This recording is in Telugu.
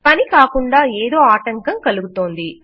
పని కాకుండా ఏదో ఆటంకం కలుగుతోంది